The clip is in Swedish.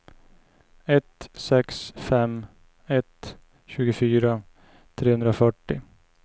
ett sex fem ett tjugofyra trehundrafyrtio